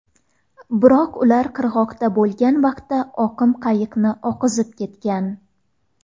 Biroq ular qirg‘oqda bo‘lgan vaqtda oqim qayiqni oqizib ketgan.